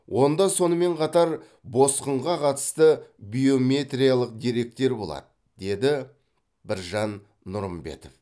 онда сонымен қатар босқынға қатысты биометриялық деректер болады деді біржан нұрымбетов